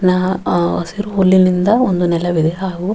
ನ ಅಹ್ ಹಸಿರು ಹುಲ್ಲಿನಿಂದ ಒಂದು ನೆಲವಿದೆ ಹಾಗು --